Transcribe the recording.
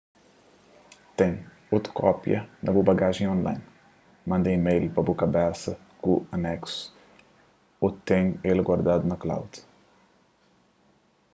ten otu kópia na bu bagajen y online manda email pa bu kabesa ku aneksu ô ten el guardadu na cloud”